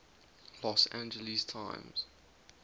los angeles times